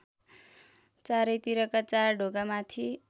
चारैतिरका चार ढोकामाथि